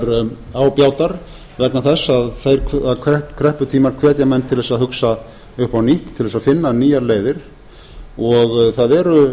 þegar á bjátar vegna þess að þeir krepputímar hvetja menn til að hugsa upp á nýtt til að finna nýjar leiðar og það eru